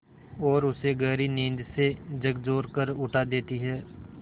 और उसे गहरी नींद से झकझोर कर उठा देती हैं